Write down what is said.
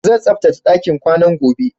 Zan tsaftace ɗakin ƙwanan gobe